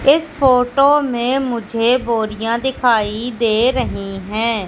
इस फोटो में मुझे बोरियां दिखाई दे रही हैं।